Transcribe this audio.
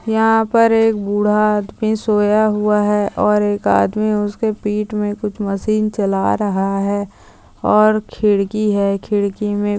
यहाँ पर एक बूढ़ा आदमी सोया हुआ है और एक आदमी उसकी पीठ में कुछ मशीन चला रहा है और खिड़की है खिड़की में--